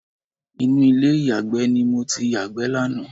Inú ilé ìyàgbẹ́ ni mo ti yàgbẹ́ lánàá